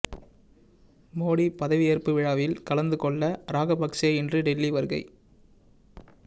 மோடி பதவியேற்பு விழாவில் கலந்து கொள்ள ராகபக்சே இன்று டெல்லி வருகை